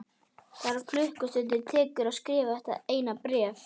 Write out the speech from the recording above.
Tvær klukkustundir tekur að skrifa þetta eina bréf.